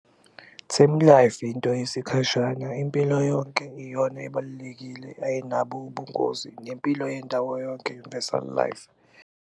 Term life into yesikhashana, impilo yonke iyona ebalulekile, ayinabo ubungozi nempilo yendawo yonke, universal life.